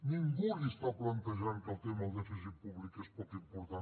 ningú li està plantejant que el tema del dèficit públic és poc important